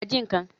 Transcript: Lọ ji nǹkan!